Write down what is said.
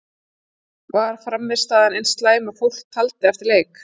Var frammistaðan eins slæm og fólk taldi eftir leik?